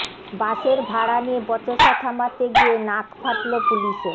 বাসের ভাড়া নিয়ে বচসা থামাতে গিয়ে নাক ফাটল পুলিশের